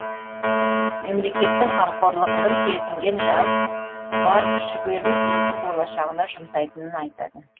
мемлекеттің қамқорлығын сезінген жас бар күш жігерін елдің болашағына жұмсайтынын айтады